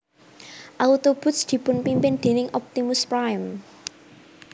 Autobots dipunpimpin déning Optimus Prime